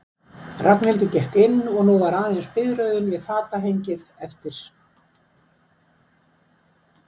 Ragnhildur gekk inn og nú var aðeins biðröðin við fatahengið eftir.